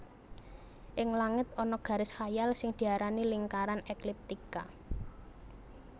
Ing langit ana garis khayal sing diarani lingkaran ekliptika